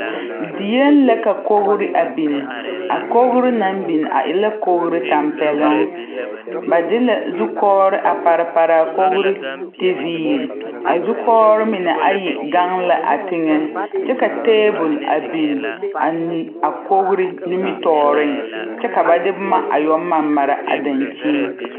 Dieŋ la ka kogre a biŋ a kogre naŋ biŋ a e la kogre tampɛloŋ ba de la zukɔgre a pare pare a kogre tiviire a zukɔgre mine ayi gaŋ la a tiŋɛ kyɛ ka tabol biŋ a neŋ a kogre nimitɔɔriŋ kyɛ ka ba de boma a yɛ mare mare a daŋkyen.